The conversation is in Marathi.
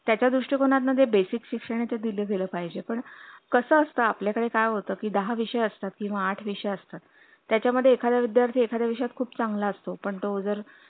त्याच्या दृष्टिकोनात मध्ये basic शिक्षणच दिले गेले पाहिजे पण कसं असतं आपल्याकडे काय होतं की दहा विषय असतात त्याचा मदे एकदा विद्यर्र्ती एकादा विषय मदे खूप चांगला असतो पण तो जर